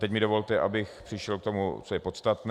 Teď mi dovolte, abych přešel k tomu, co je podstatné.